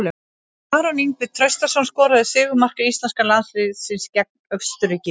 Arnór Ingvi Traustason skoraði sigurmark íslenska landsliðsins gegn Austurríki í kvöld.